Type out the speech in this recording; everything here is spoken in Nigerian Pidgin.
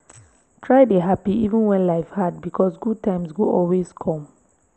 try dey happy even when life hard because good times go always come